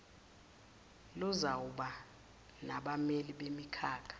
luzawuba nabameli bemikhakha